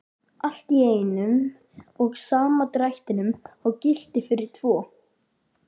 Allt í einum og sama drættinum og gilti fyrir tvo!